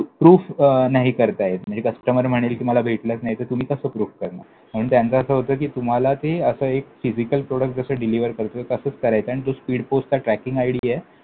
proof अं नाही करता येत. म्हणजे customer म्हणेल, मला भेटलंच नाही! तर तुम्ही कसं prove करणार? म्हणून त्यांचं असं होतं कि, तुम्हाला ते असं एक physical product जसं deliver करतो, तसं करायचं आणि तो speed पोस्टचा tracking आयडीए